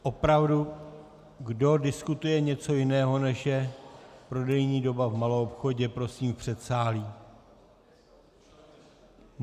Opravdu, kdo diskutuje něco jiného, než je prodejní doba v maloobchodě, prosím v předsálí.